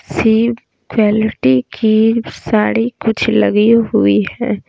सी quality की साड़ी कुछ लगी हुई है।